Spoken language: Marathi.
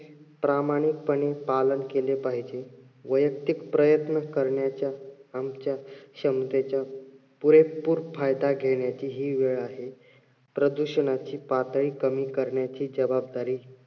प्रामाणिकपणे पालन केले पाहिजे. वयक्तिक प्रयत्न करण्याच्या आमच्या क्षमतेच्या पुरेपूर फायदा घेण्याची हि वेळ आहे. प्रदूषणाची पातळी कमी करण्याची जबाबदारी